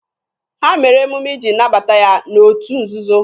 Ha mere emume iji nabata ya n'otu nzuzo.